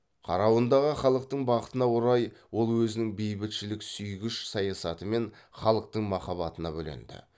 қарауындағы халықтың бақытына орай ол өзінің бейбітшілік сүйгіш саясатымен халықтың махаббатына бөленді